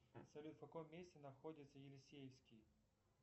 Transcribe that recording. салют в каком месте находится елисеевский